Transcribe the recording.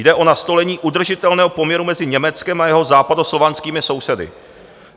Jde o nastolení udržitelného poměru mezi Německem a jeho západoslovanskými sousedy.